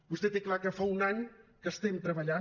vostè té clar que fa un any que estem treballant